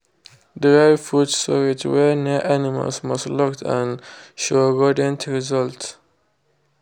dry food storage wey near animals must locked and show rodent result.